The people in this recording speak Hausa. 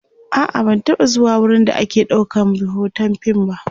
a'a ban taba zuwa wurin da ake ɗaukan be Hoton fim ba